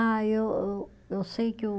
Ah, eu ô, eu sei que o